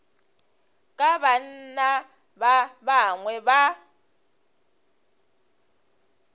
ka banna ba bangwe ba